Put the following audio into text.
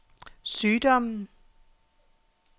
sygdommen